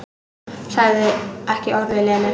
Sagði ekki orð við Lenu.